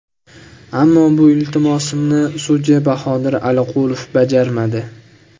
Ammo bu iltimosimni sudya Bahodir Aliqulov bajarmadi.